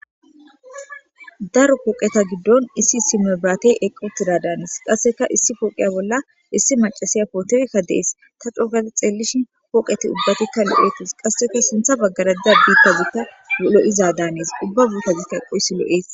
daro pooqeta giddon issi issi mebraate eqotida daanes qasseka issi pooqiya bolla issi macasiya pootekka dees ta cogada xeellishi pooqeti ubbatikka lo'etis qasseka sintha baggaraka biittazita lo'iza daanees ubba biitazikka eqqo issi lo'es